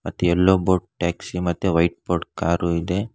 ಮತ್ ಎಲ್ಲೋ board taxi ಮತ್ತೆ ವೈಟ್ ಬೋರ್ಡ್ ಕಾರು ಇದೆ.